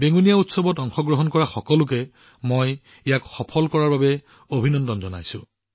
বেঙুনীয়া উৎসৱক সফল কৰি তোলাৰ বাবে মই ইয়াত অংশগ্ৰহণ কৰা সকলো লোকক অভিনন্দন জনাইছো